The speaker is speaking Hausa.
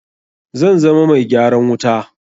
Zan zama mai gyaran wuta.